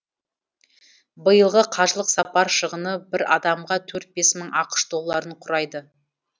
биылғы қажылық сапар шығыны бір адамға төрт бес мың ақш долларын құрайды